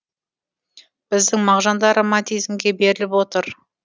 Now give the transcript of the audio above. біздің мағжан да романтизмге беріліп отыр